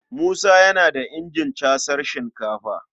Musa yana da injin casar sinkafa.